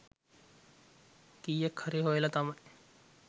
කීයක්හරි හොයල තමයි